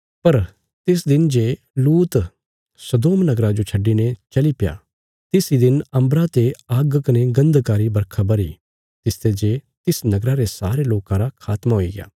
पर तिस दिन जे लूत सदोम नगरा जो छड्डिने चलीप्या तिस इ दिन अम्बरा ते आग्ग कने गन्धका री बरखा बरही तिसते जे तिस नगरा रे सारे लोकां रा खात्मा हुईग्या